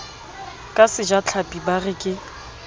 ka sejatlhapi ba re ke